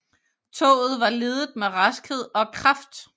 Toget var ledet med raskhed og kraft